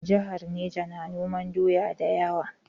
Jihar Neja na noman doya da yawa.